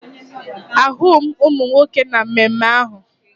Ahụghị m ụmụ nwoke na mmemme ahụ